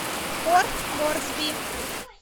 порт морсби